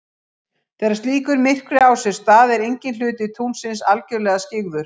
Þegar slíkur myrkvi á sér stað er enginn hluti tunglsins algjörlega skyggður.